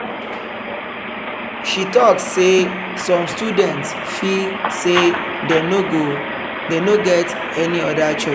she talk say some students feel say dem no get any other choice.